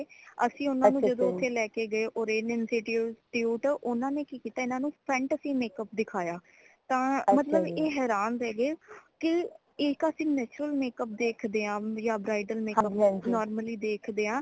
ਅਸੀਂ ਓਨਾ ਨੂ ਜਦੋ ਓਥੇ ਲੈ ਕੇ ਗਏ orange institute ਊਨਾ ਨੇ ਕਿ ਕੀਤਾ ਊਨਾ ਨੇ front ਚ ਹੀ makeup ਦਿਖਾਯਾ ਤਾਂ ਮਤਲਬਏ ਹੈਰਾਨ ਰਹ ਗਏ ਕਿ ਇਕ ਅਸੀਂ natural makeup ਦੇਖਦੇ ਹਾਂ ਯਾ bridal makeup normally ਦੇਖਦੇ ਹਾਂ